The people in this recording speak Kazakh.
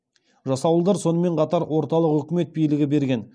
жасауылдар сонымен қатар орталық өкімет билігі берген